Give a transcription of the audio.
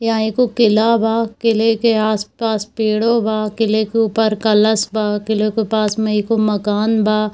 यहाँ एगो किला बा किले के आस-पास पेड़ो बा किले के ऊपर कलस बा किलो के पास में एगो मकन बा।